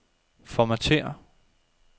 Formatér.